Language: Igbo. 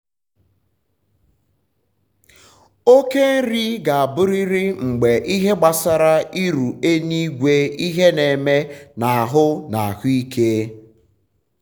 um okề nri ga um aburịrị mgbe ịhe gbasara iru eluigweịhe n’eme um na ahụ na ahụ ike